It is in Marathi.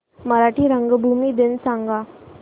मराठी रंगभूमी दिन सांगा